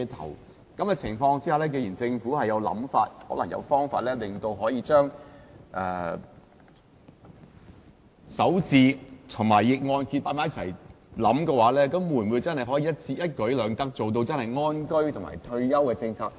在這種情況下，既然政府有想法，可能有方法令強積金首置安排及逆按揭計劃合併起來，會否真的可以一舉兩得，做到安居及退休的政策？